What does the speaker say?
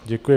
Děkuji.